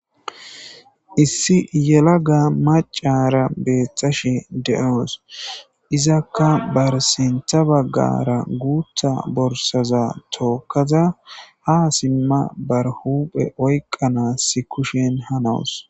Issi yela ga macara beeththashe de'oos izakka bar sintha baggara guutha borsaza tookaza ha simma bar huphe oyqqanass kushen ha nawus.